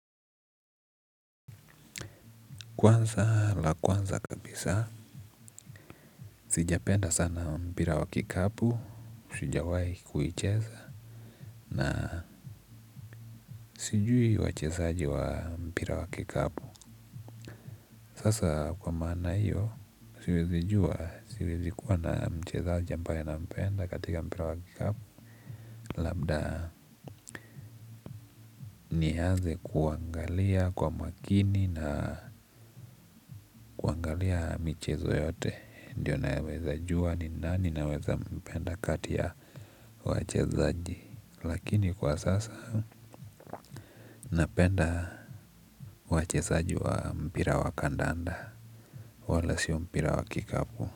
Kwanza la kwanza kabisa, sijapenda sana mpira wa kikapu, sijawai kuicheza, na sijui wachezaji wa mpira wa kikapu. Sasa kwa maana hiyo, siwezi jua, siwezikuwa na mchezaji ambaye na mpenda katika mpira wa kikapu, labda ni anze kuangalia kwa makini na kuagalia michezo yote. Ndio naweza jua ni nani naweza mpenda kati ya wachezaji. Lakini kwa sasa napenda wachezaji wa mpira wa kandanda. Wala sio mpira wa kikapu.